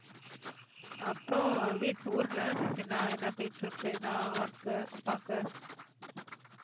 அப்பறம் வீட்~ ஊருல என்ன என்ன போயிட்டிருக்கு என்ன work உ அப்பாக்கு?